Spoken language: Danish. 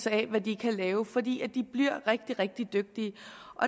af hvad de kan lave for de bliver rigtig rigtig dygtige